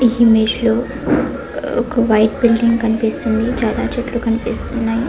ఈ ఇమేజ్ లో ఒక వైట్ కలర్ బిల్డింగ్ కనిపిస్తుంది చాలా చెట్లు ఉన్నాయి